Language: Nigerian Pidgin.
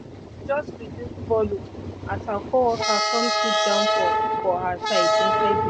she just reduce volume as her coworker come sit down for for her side inside the train